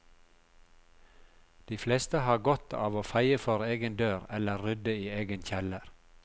De fleste har godt av å feie for egen dør eller rydde i egen kjeller.